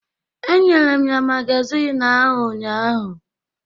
Enyere m ya magazin ahụ ụnyahụ.